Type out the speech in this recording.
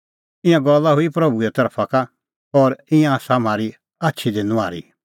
ईंयां गल्ला हुई प्रभूए तरफा का और ईंयां आसा म्हारी आछी दी नुआहरी